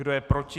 Kdo je proti?